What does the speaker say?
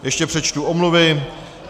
Ještě přečtu omluvy.